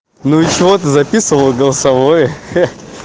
ну и чего ты записывал голосовое